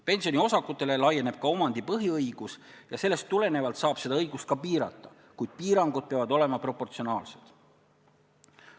Pensioniosakutele laieneb omandipõhiõigus ja sellest tulenevalt saab seda õigust ka piirata, kuid piirangud peavad olema proportsionaalsed.